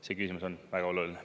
See küsimus on väga oluline.